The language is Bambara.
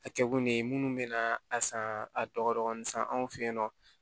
A kɛ kun de ye munnu bɛ na a san a dɔgɔkun san anw fɛ yen nɔ